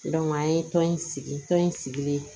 an ye tɔn in sigi tɔn in sigilen